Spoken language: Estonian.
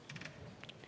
Aitäh!